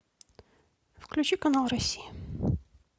включи канал россия